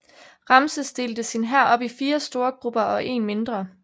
Ramses delte sin hær op i fire store grupper og en mindre